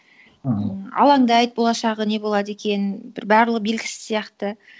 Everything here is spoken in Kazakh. аха алаңдайды болашағы не болады екен бір барлығы белгісіз сияқты